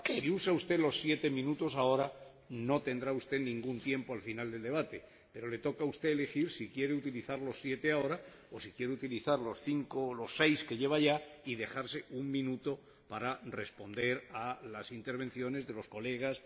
si usa usted los siete minutos ahora, no tendrá usted ningún tiempo al final del debate, pero le toca a usted elegir si quiere utilizar los siete ahora o si quiere utilizar los cinco o los seis que lleva ya y dejarse un minuto para responder a las intervenciones de los colegas.